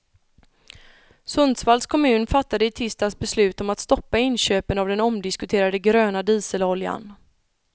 Sundsvalls kommun fattade i tisdags beslut om att stoppa inköpen av den omdiskuterade gröna dieseloljan.